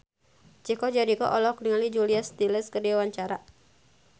Chico Jericho olohok ningali Julia Stiles keur diwawancara